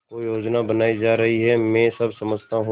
कोई योजना बनाई जा रही है मैं सब समझता हूँ